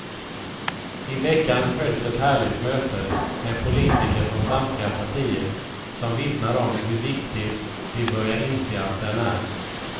I veckan hölls ett härligt möte med politiker från samtliga partier som vittnade om hur viktig de börjat inse att den är.